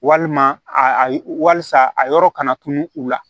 Walima a walisa a yɔrɔ kana tunu u la